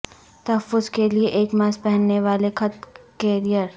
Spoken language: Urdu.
تحفظ کے لئے ایک ماسک پہننے والے خط کیریئر